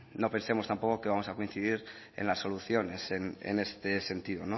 no pensemos tampoco que vamos a coincidir en las soluciones en este sentido